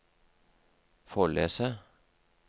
Follese